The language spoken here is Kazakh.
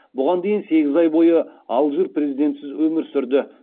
бұған дейін сегіз ай бойы алжир президентсіз өмір сүрді